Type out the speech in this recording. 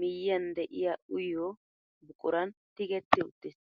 miyiyaan de'iyaa uyiyoo buquran tigetti uttiis.